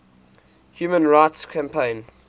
human rights campaign